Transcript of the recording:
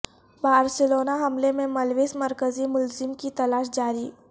Barcelona حملے میں ملوث مرکزی ملزم کی تلاش جاری